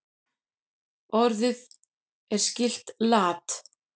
Orðið er skylt lat.